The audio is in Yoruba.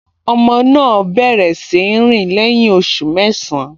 Ọmọ náà bẹ̀rẹ̀ sí í rìn lẹ́yìn oṣù mẹ́sàn-án